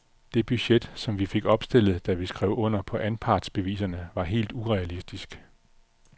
Det budget, som vi fik opstillet, da vi skrev under på anpartsbeviserne, var helt urealistisk.